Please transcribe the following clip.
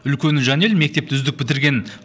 үлкені жанель мектепті үздік бітірген